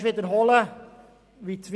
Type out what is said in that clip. Ich wiederhole einfach nochmals: